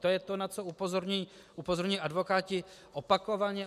To je to, na co upozorňují advokáti opakovaně.